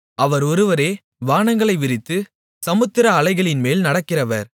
அவர் ஒருவரே வானங்களை விரித்து சமுத்திர அலைகளின்மேல் நடக்கிறவர்